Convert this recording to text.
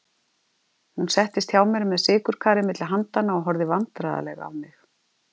Hún settist hjá mér með sykurkarið milli handanna og horfði vandræðaleg á mig.